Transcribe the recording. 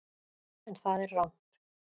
En það er rangt.